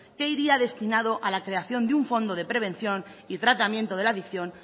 que iría destinado a la creación de un fondo de prevención y tratamiento de la adicción